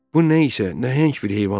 Bu nə isə nəhəng bir heyvan idi.